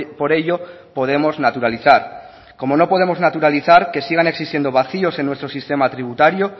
por ello podemos naturalizar como no podemos naturalizar que sigan existiendo vacíos en nuestro sistema tributario